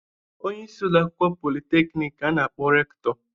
Onye isi ụlọakwụkwọ politeknik ka a na-akpọ Rektọ.